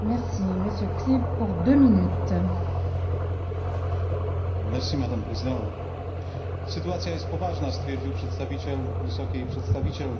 Pani Przewodnicząca! Sytuacja jest poważna stwierdził przedstawiciel Wysokiej Przedstawiciel,